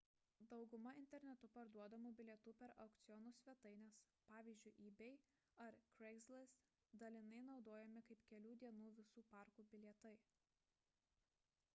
dauguma internetu parduodamų bilietų per aukcionų svetaines pavyzdžiui ebay ar craigslist dalinai naudojami kaip kelių dienų visų parkų bilietai